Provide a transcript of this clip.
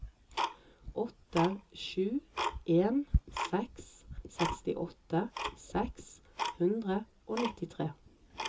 åtte sju en seks sekstiåtte seks hundre og nittitre